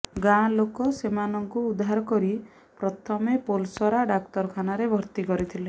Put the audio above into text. ଗାଁ ଲୋକେ ସେମାନଙ୍କୁ ଉଦ୍ଧାର କରି ପ୍ରଥମେ ପୋଲସରା ଡାକ୍ତରଖାନାରେ ଭର୍ତ୍ତି କରିଥିଲେ